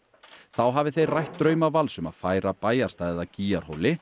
þá hafi þeir rætt drauma Vals um að færa bæjarstæðið að